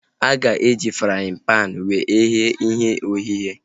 A ga-eji fraaịn panu wee ghee ihe ogheghe